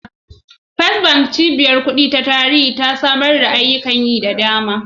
First Bank, cibiyar kuɗi ta tarihi ta ci gaba da samar da ayyukan banki da dama.